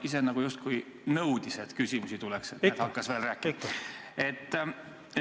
Aivar ise justkui nõudis, et küsimusi tuleks, hakkas veel rääkima.